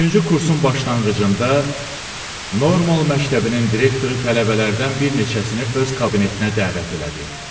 Üçüncü kursun başlanğıcında normal məktəbinin direktoru tələbələrdən bir neçəsini öz kabinetinə dəvət elədi.